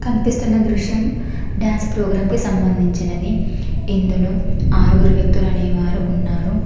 కన్పిస్తున్న దృశ్యం dance programme కి సంబంధించినది ఇందులో ఆరుగురు వ్యక్తులు అనేవారు ఉన్నారు.